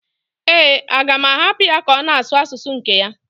Ee, a ga-ahapụ ya ka ọ na-asụ asụsụ nke ya?